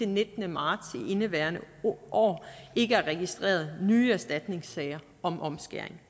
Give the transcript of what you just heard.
nittende marts i indeværende år ikke er registreret nye erstatningssager om omskæring